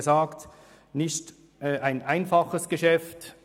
Es ist kein einfaches Geschäft.